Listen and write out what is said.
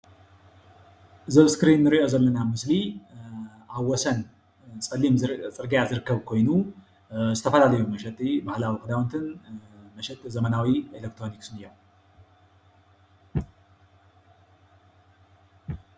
እዚ ኣብ እስክሪ እንሪኦ ዘሎ ምስሊ ኣብ ወሰን ፀሊም ፅርግያ ዝርከብ ኮይኑ ዝተፈላለየ መሸጢ ዓላቡ ክዳውንቲን መሸጢ ዘመናዊ ኤሌክትሮኒክስን እዮም፡፡